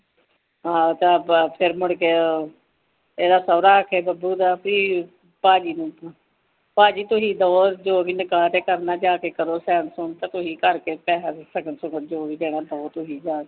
ਹਾ ਤਾ ਫ਼ਿਰ ਮੁੜਕੇ ਏਦਾਂ ਸੋਰਾਂ ਆਖੈ ਬੰਬੂ ਦਾ ਬੀ ਪਾਜੀ ਨੂ ਪਾਜੀ ਤੁਸੀ ਦਵੋਂ ਜੋਵੀ ਨਿਗਾਹ ਤੇ ਕਰਨਾ ਜਾਕੇ ਜੋਂਵੀ ਸਗਨ ਸੁਗਣ ਜੋਵੀ ਦੇਣਾ ਤੁਸੀ ਦਵੋ ਜਾ ਕੇ